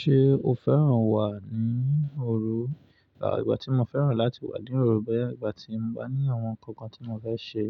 Ṣé o fẹ́ràn wà ní òru? À, ìgbà tí mo fẹ́ràn láti wà ní òru bẹ́ẹ̀ ìgbà tí mo bá ní àwọn ǹkan kan tí mo fẹ́ ṣe.